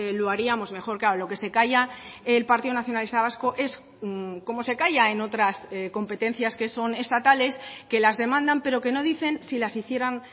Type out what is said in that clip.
lo haríamos mejor claro lo que se calla el partido nacionalista vasco es como se calla en otras competencias que son estatales que las demandan pero que no dicen si las hicieran